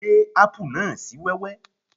Gé ápù náà sì wẹ́wẹ́